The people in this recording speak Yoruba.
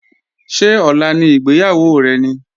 Ṣé ọ̀la ni ìgbéyàwó rẹ ni?